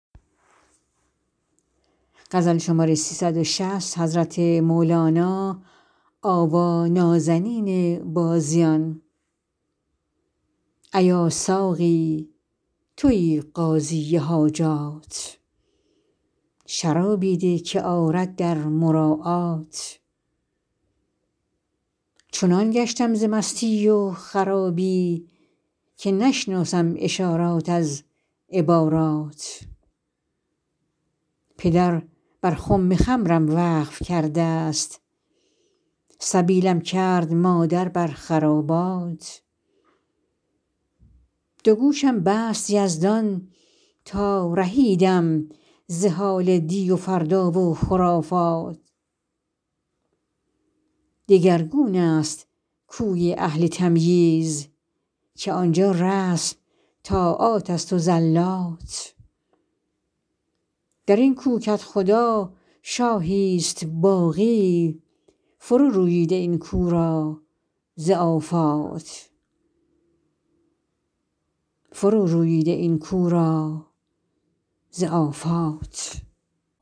ایا ساقی توی قاضی حاجات شرابی ده که آرد در مراعات چنان گشتم ز مستی و خرابی که نشناسم اشارات از عبارات پدر بر خم خمرم وقف کردست سبیلم کرد مادر بر خرابات دو گوشم بست یزدان تا رهیدم ز حال دی و فردا و خرافات دگرگون است کوی اهل تمییز که آن جا رسم طاعاتست و زلات در این کو کدخدا شاهی است باقی فرو روبیده این کو را ز آفات